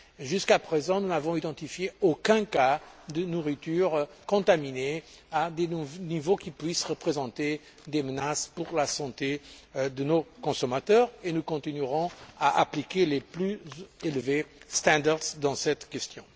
Jusqu'à présent, nous n'avons identifié aucun cas de nourriture contaminée à des niveaux qui puissent représenter des menaces pour la santé de nos consommateurs, et nous continuerons à appliquer les normes les plus élevées concernant cette question.